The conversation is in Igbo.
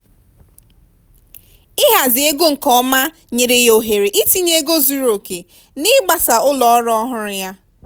ịhazi ego nke ọma nyere ya ohere itinye ego zuru oke n'ịgbasa ụlọ ọrụ ọhụrụ ya.